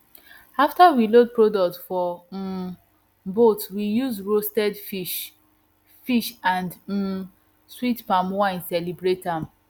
after we load product for um boat we use roastes fish fish and um sweet palm wine celebrate am